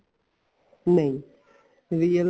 ਨਹੀਂ real life